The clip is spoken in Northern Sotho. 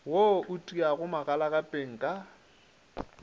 wo o tiago magalagapeng ka